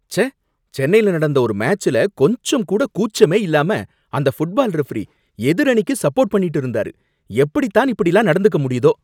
ச்சே! சென்னைல நடந்த ஒரு மேட்ச்ல கொஞ்சம் கூட கூச்சமே இல்லாம அந்த ஃபுட்பால் ரெஃப்ரீ எதிரணிக்கு சப்போர்ட் பண்ணிட்டு இருந்தாரு, எப்படித் தான் இப்படிலாம் நடந்துக்க முடியுதோ!